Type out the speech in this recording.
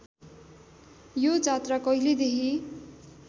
यो जात्रा कहिलेदेखि